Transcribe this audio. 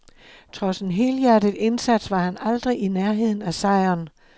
Trods en helhjertet indsats var han aldrig i nærheden af sejren.